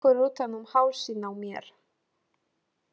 Tekur utan um hálsinn á mér.